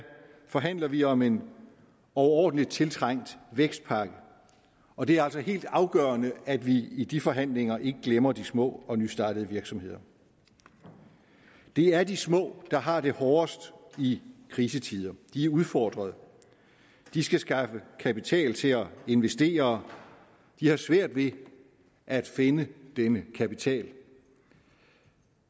forhandler vi om en overordentlig tiltrængt vækstpakke og det er altså helt afgørende at vi i de forhandlinger ikke glemmer de små og nystartede virksomheder det er de små der har det hårdest i krisetider de er udfordret de skal skaffe kapital til at investere de har svært ved at finde denne kapital